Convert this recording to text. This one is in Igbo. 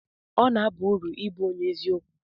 ọ na-aba uru ịbụ onye eziokwu